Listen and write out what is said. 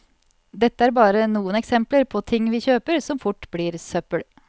Dette er bare noen eksempler på ting vi kjøper som fort blir søppel.